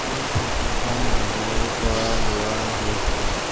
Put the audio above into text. এই ফটো খন বজাৰৰ পৰা লোৱা হৈছে।